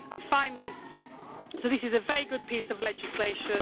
Finally, this is a very good piece of legislation.